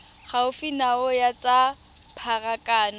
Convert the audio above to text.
gaufi nao ya tsa pharakano